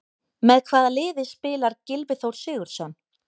Með hvaða liði spilar Gylfi Þór Sigurðsson?